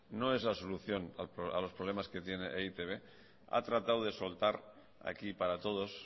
no es la solución a los problemas que tiene e i te be ha tratado de soltar aquí para todos